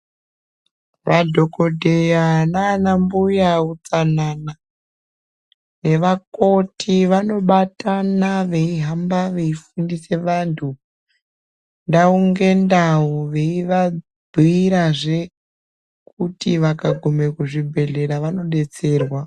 Madhokodheya nana mbuya utsanana nevakoti vanobatana veihamba veifundisa vantu ndau ngendau veivabhuirazve kuti vakagume kuzvibhehlera vanodetserwa.